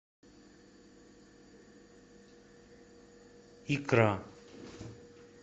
икра